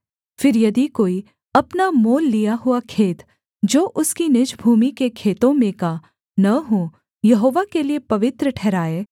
फिर यदि कोई अपना मोल लिया हुआ खेत जो उसकी निज भूमि के खेतों में का न हो यहोवा के लिये पवित्र ठहराए